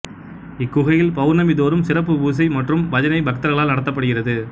இக்குகையில் பெளா்ணமி தோறும் சிறப்புப் புசை மற்றும் பஜனை பக்தா்களால் நடத்தப்படுகிறது